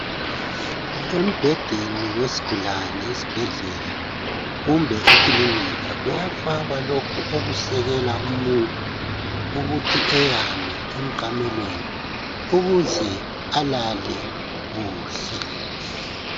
Embhedeni wesigulane esibhedlela kumbe ekilinika kuyafakwa lokhu okusekela umuntu ukuthi eyane emqamelweni ukuze alale kuhle